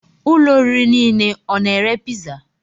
Ụlọ oriri nile ọ na-ere piza?